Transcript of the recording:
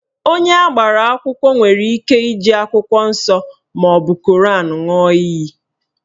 Onye agbara akwụkwọ nwere ike iji akwụkwọ nsọ maọbụ Koran ṅụọ iyi